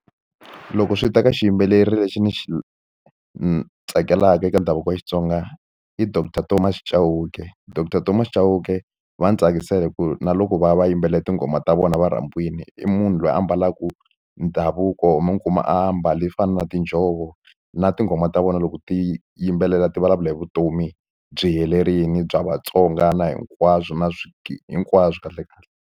Loko swi ta ka xiyimbeleri lexi ni xi tsakelaka eka ndhavuko wa Xitsonga i doctor Thomas Chauke doctor Thomas Chauke va ndzi tsakisa hi ku na loko va ya va yimbelela tinghoma ta vona va rhambiwile i munhu loyi a ambalaka ndhavuko mi kuma a mbali fana na tinjhovo na tinghoma ta vona loko ti yimbelela ti vulavula hi vutomi byi helerile bya Vatsonga na hinkwaswo na hinkwaswo kahle kahle.